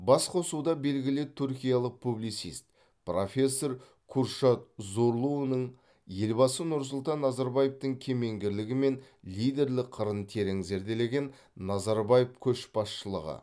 басқосуда белгілі түркиялық публицист профессор куршад зорлуның елбасы нұрсұлтан назарбаевтың кемеңгерлігі мен лидерлік қырын терең зерделеген назарбаев көшбасшылығы